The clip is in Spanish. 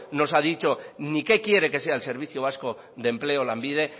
nos ha dicho ni qué quiere que sea el servicio vasco de empleo lanbide